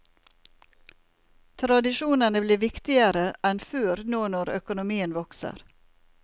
Tradisjonene blir viktigere enn før nå når økonomien vokser.